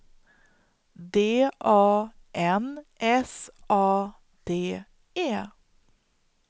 D A N S A D E